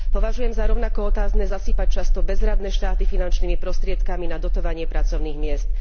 Považujem za rovnako otázne zasýpať často bezradné štáty finančnými prostriedkami na dotovanie pracovných miest.